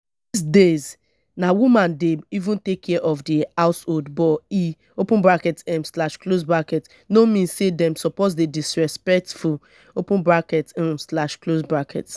dis days na women dey even take care of the household but e open bracket um slash close bracket no mean say dem suppose dey disrespectful open bracket um slash close bracket